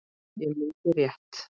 Ég mundi rétt.